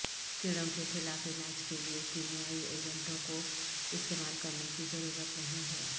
کیڑوں کے خلاف علاج کے لیے کیمیائی ایجنٹوں کو استعمال کرنے کی ضرورت نہیں ہے